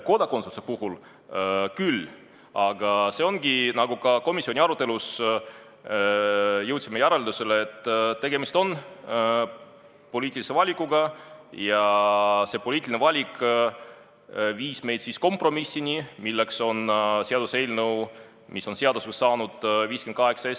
Kodakondsuse puhul me jõudsime komisjoni arutelus järeldusele, et tegemist on poliitilise valikuga ja see poliitiline valik viis meid kompromissini, milleks oli seaduseks saanud eelnõu 58.